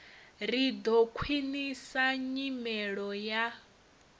ri ḓo khwiṋisa nyimelo ya